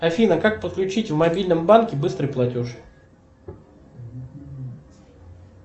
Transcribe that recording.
афина как подключить в мобильном банке быстрый платеж